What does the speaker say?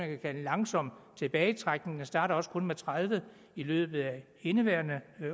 kan kalde en langsom tilbagetrækning den starter også kun med tredive i løbet af indeværende